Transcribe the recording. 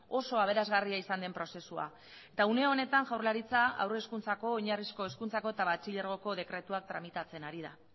oso aberasgarria izan den prozesua eta une honetan jaurlaritza haur hezkuntzako oinarrizko hezkuntzako eta batxilergoko dekretuak tramitatzen ari da